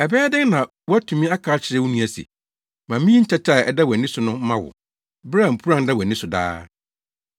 Ɛbɛyɛ dɛn na woatumi aka akyerɛ wo nua se, ‘Ma minyi ntɛtɛ a ɛda wʼani so no mma wo,’ bere a mpuran da wʼani so daa.